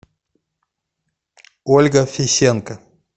ольга фисенко